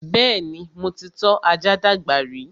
Bẹ́ẹ̀ni, mo ti tọ́ ajá dàgbà rí